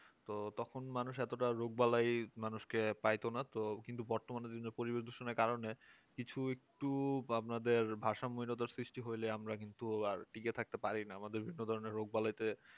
তো তখন মানুষ এতটা রোগবালাই মানুষকে পাইত না তো কিন্তু বর্তমানে বিভিন্ন পরিবেশ দূষণের কারণে কিছু একটু আপনাদের ভারসাম্য হীনতার সৃষ্টি হইলে আমরা কিন্তু আর টিকে থাকতে পারি না আমাদের বিভিন্ন ধরণের রোগবালাইতে